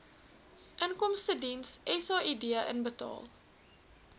inkomstediens said inbetaal